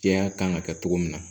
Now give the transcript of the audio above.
Jɛya kan ka kɛ cogo min na